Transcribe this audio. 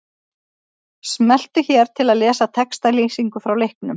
Smelltu hér til að lesa textalýsingu frá leiknum.